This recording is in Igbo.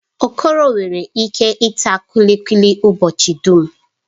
Okoro nwere ike ita kulikuli ụbọchị dum.